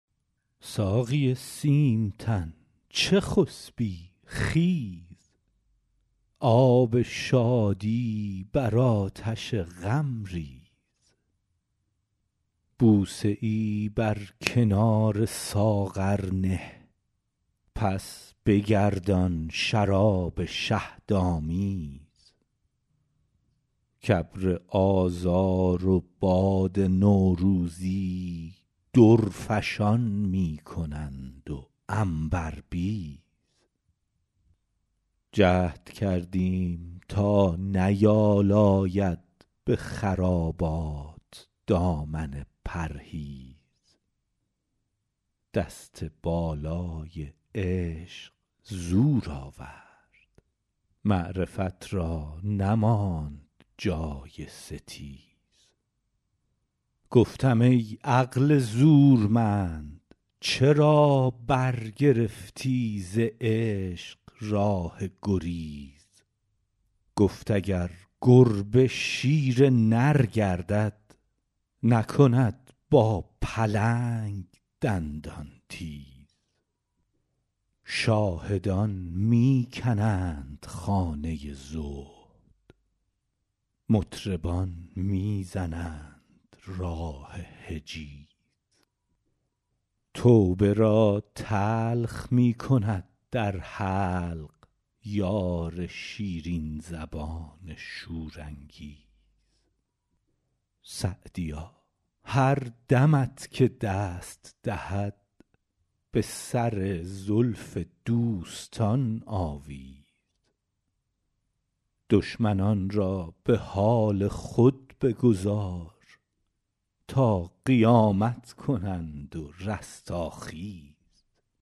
ساقی سیم تن چه خسبی خیز آب شادی بر آتش غم ریز بوسه ای بر کنار ساغر نه پس بگردان شراب شهدآمیز کابر آذار و باد نوروزی درفشان می کنند و عنبربیز جهد کردیم تا نیالاید به خرابات دامن پرهیز دست بالای عشق زور آورد معرفت را نماند جای ستیز گفتم ای عقل زورمند چرا برگرفتی ز عشق راه گریز گفت اگر گربه شیر نر گردد نکند با پلنگ دندان تیز شاهدان می کنند خانه زهد مطربان می زنند راه حجیز توبه را تلخ می کند در حلق یار شیرین زبان شورانگیز سعدیا هر دمت که دست دهد به سر زلف دوستان آویز دشمنان را به حال خود بگذار تا قیامت کنند و رستاخیز